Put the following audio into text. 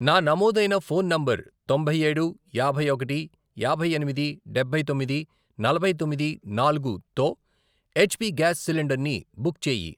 నా నమోదైన phone number తొంభై ఏడు, యాభై ఒకటి, యాభై ఎనిమిది, డబ్బై తొమ్మిది, నలభై తొమ్మిది, నాలుగు, తో ఎచ్ పి గ్యాస్ సిలిండర్ని బుక్ చేయి.